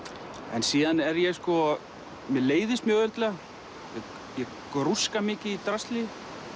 en síðan leiðist mér mjög auðveldlega ég grúska mikið í drasli